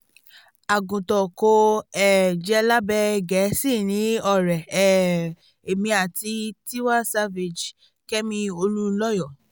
àgùntàn kò um jẹ́ lábẹ́ gẹ̀ẹ́sì ni ọ̀rẹ́ um èmi àti tiwa savage kẹ́mi olùǹlọyọ̀